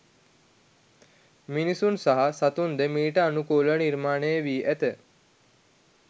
මිනිසුන් සහ සතුන්ද මීට අනුකූලව නිර්මාණය වී ඇත.